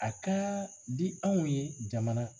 A ka di anw ye jamana